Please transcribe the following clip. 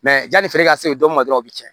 Mɛ yanni feere ka se don min ma dɔrɔn u bɛ tiɲɛ